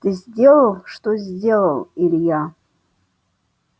ты сделал что сделал илья